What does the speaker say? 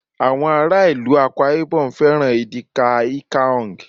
àwọn ará ìlú Akwa ibom fẹràn edikaikaong